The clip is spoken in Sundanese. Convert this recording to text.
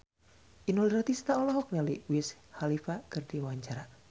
Inul Daratista olohok ningali Wiz Khalifa keur diwawancara